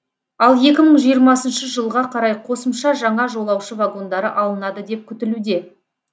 ал екі мың жиырмасыншы жылға қарай қосымша жаңа жолаушы вагондары алынады деп күтілуде